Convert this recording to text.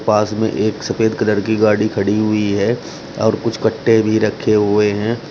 पास में एक सफेद कलर की गाड़ी खड़ी हुई है और कुछ कट्टे भी रखे हुए हैं।